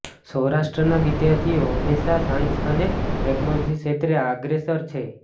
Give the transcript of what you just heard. સૌરાષ્ટ્રના વિદ્યાર્થીઓ હમેંશા સાયન્સ અને ટેકનોલોજી શ્રેત્રે આગ્રેસર છે